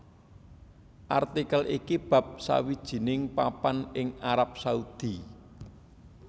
Artikel iki bab sawijining papan ing Arab Saudi